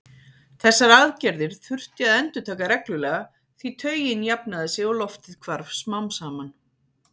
Þessar aðgerðir þurfti að endurtaka reglulega því taugin jafnaði sig og loftið hvarf smám saman.